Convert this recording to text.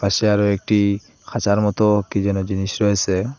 সে আরও একটি খাঁচার মত কি যেন জিনিস রয়েছে।